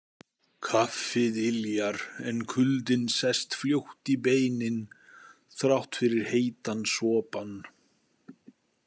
Kaffið yljar en kuldinn sest fljótt í beinin þrátt fyrir heitan sopann.